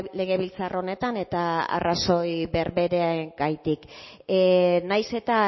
legebiltzar honetan eta arrazoi berberegatik nahiz eta